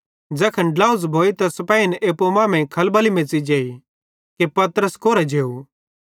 ज़ैखन झ़ेझ़ भोई त सिपेहिन एप्पू मांमेइं खलबली मेच़ी जेई कि पतरस कोरां जेव